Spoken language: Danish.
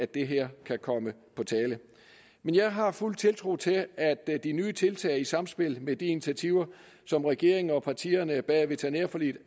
det her kan komme på tale men jeg har fuld tiltro til at de nye tiltag i samspil med de initiativer som regeringen og partierne bag veterinærforliget